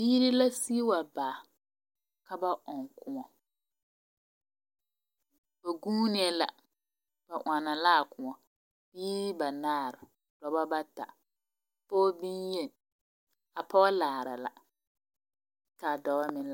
Biiri la sigi wa baa ka ba ɔŋ kõɔ. Ba guunee la. Ba ɔnnɔ la a kõɔ. Biiri banaar, dɔbɔ bata, pɔɔ beye, a pɔɔ laara la, ka dɔwa meŋ.